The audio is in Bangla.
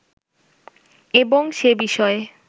এবং সে বিষয়ে